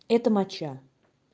это моча